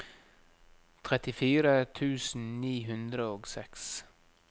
trettifire tusen ni hundre og seks